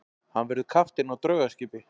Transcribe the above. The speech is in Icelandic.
Hann verður kapteinn á draugaskipi.